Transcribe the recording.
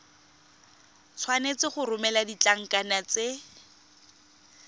tshwanetse go romela ditlankana tse